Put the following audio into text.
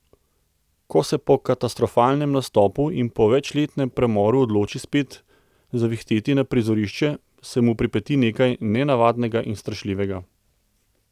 Ko se po katastrofalnem nastopu in po večletnem premoru odloči spet zavihteti na prizorišče, se mu pripeti nekaj nenavadnega in strašljivega.